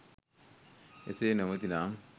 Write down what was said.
ඒසේ නොමැති නම්